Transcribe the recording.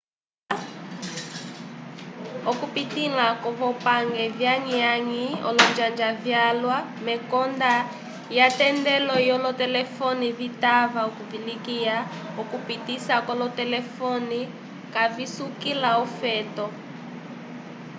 okupitĩla kwovopange vyakwamĩ olonjanja vyalwa mekonda lyatendelo lyolotelefone vitava okuvivilikiya okupisa k'olotelefone kavisukila ofeto